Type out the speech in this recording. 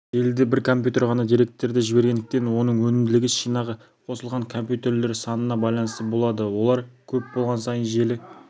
желіде бір компьютер ғана деректерді жібергендіктен оның өнімділігі шинаға қосылған компьютерлер санына байланысты болады олар көп болған сайын желі